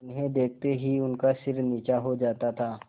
उन्हें देखते ही उनका सिर नीचा हो जाता था